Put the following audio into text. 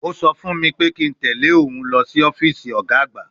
Ó sọ fún mi pé kí n tẹ̀ lé òun lọ sí ọ́fíìsì ọ̀gá àgbà